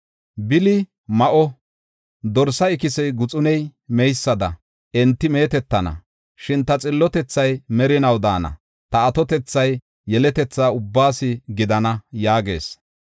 Bili ma7o, dorsa ikise guxuney meysada, enti meetetana. Shin ta xillotethay merinaw daana; ta atotethay yeletetha ubbaas gidana” yaagees.